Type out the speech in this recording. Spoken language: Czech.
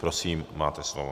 Prosím, máte slovo.